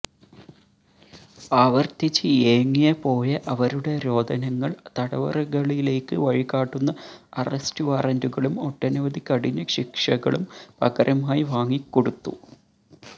ആവര്ത്തിച്ച് ഏങ്ങിയ പോയ അവരുടെ രോദനങ്ങള് തടവറകളിലേക്ക് വഴി കാട്ടുന്ന അറസ്റ്റു വാറന്റുകളും ഒട്ടനവധി കഠിന ശിക്ഷകളും പകരമായി വാങ്ങിക്കൊടുത്തു